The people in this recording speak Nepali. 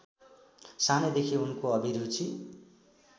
सानैदेखि उनको अभिरुचि